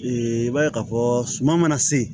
i b'a ye k'a fɔ suman mana se